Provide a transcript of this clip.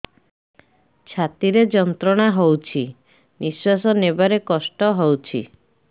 ଛାତି ରେ ଯନ୍ତ୍ରଣା ହଉଛି ନିଶ୍ୱାସ ନେବାରେ କଷ୍ଟ ହଉଛି